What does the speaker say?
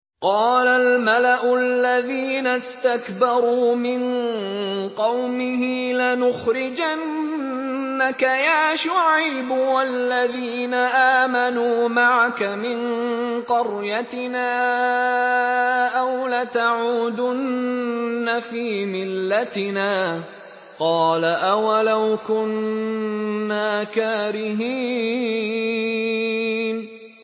۞ قَالَ الْمَلَأُ الَّذِينَ اسْتَكْبَرُوا مِن قَوْمِهِ لَنُخْرِجَنَّكَ يَا شُعَيْبُ وَالَّذِينَ آمَنُوا مَعَكَ مِن قَرْيَتِنَا أَوْ لَتَعُودُنَّ فِي مِلَّتِنَا ۚ قَالَ أَوَلَوْ كُنَّا كَارِهِينَ